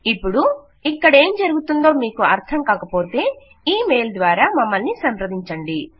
ఇపుడు ఇక్కడేం జరుగుతోందో మీకు అర్థం కాకపోతే ఇ మెయిల్ ద్వారా మమ్మల్ని సంప్రదించండి